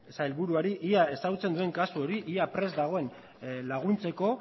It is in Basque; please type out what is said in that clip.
sailburuari ea ezagutzen duen kasu hori ea prest dagoen laguntzeko